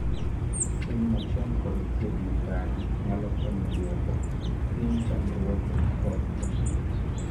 fweny machon kod thieth makare nyalo konyo duoko piny chandruoge kod tho